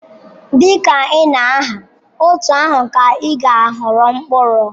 Dị ka ị na-agha, otú ahụ ka ị ga-aghọrọ mkpụrụ.